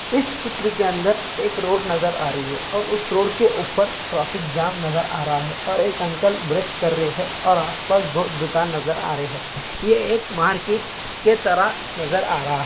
इस चित्र के अंदर एक रोड नज़र आ रही है और इस रोड के अंदर ट्राफिक जाम नजर आ रहा है और एक अंकल ब्रुश कर रहे हैं और आसपास बोहोत दुकान नज़र आ रही हैं। ये एक मार्केट के तरह नज़र आ रहा है।